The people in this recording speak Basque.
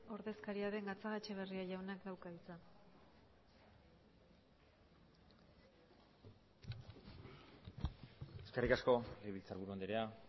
ordezkaria den gatzagaetxebarria jaunak dauka hitza eskerrik asko legebiltzarburu andrea